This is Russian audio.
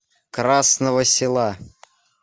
красного села